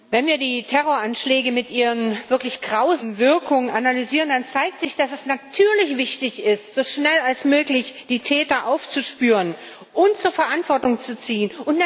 Herr Präsident! Wenn wir die Terroranschläge mit ihren wirklich grausamen Wirkungen analysieren, dann zeigt sich, dass es natürlich wichtig ist, so schnell wie möglich die Täter aufzuspüren und zur Verantwortung zu ziehen.